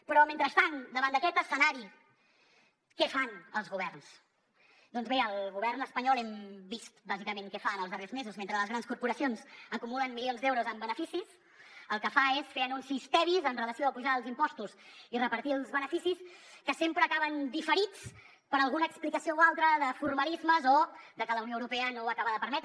però mentrestant davant d’aquest escenari què fan els governs doncs bé el govern espanyol hem vist bàsicament què fa en els darrers mesos mentre les grans corporacions acumulen milions d’euros en beneficis el que fa és fer anuncis tebis amb relació a apujar els impostos i repartir els beneficis que sempre acaben diferits per alguna explicació o altre de formalismes o de que la unió europea no ho acaba de permetre